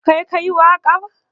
Kai ka yi waƙar?